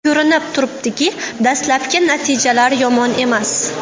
Ko‘rinib turibdiki, dastlabki natijalar yomon emas.